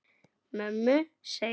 Mömmu, segir hann.